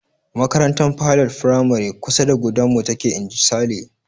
"Makarantar Pilot firamare kusa da gudanmu take." Inji Sale.